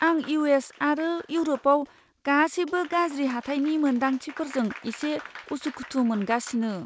आं U. S. आरो इउरपआव गासैबो गाज्रि हाथाइनि मोनदांथिफोरजों एसे उसुखुथु मोनगासिनो।